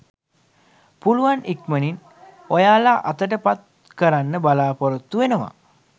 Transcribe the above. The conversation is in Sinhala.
පුළුවන් ඉක්මනින් ඔයාලා අතට පත් කරන්න බලාපොරොත්තු වෙනවා